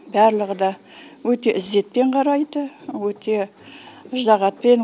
барлығы да өте ізетпен қарайды өте ыждахатпен